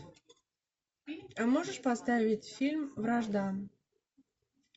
можешь поставить фильм вражда